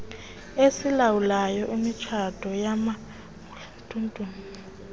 esilawulayo imitshato yamamuslim